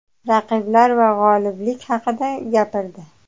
raqiblar va g‘oliblik haqida gapirdi;.